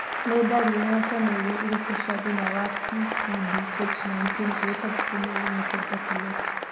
Nĩ ndariri na cionereria irĩkũ cia thĩna wa PCDH19 related female limited epilepsy?